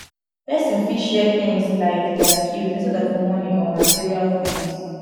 person fit share things like their skills instead of money or material things